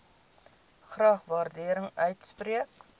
graag waardering uitspreek